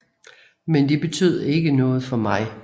Men det betød ikke noget for mig